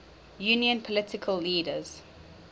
union political leaders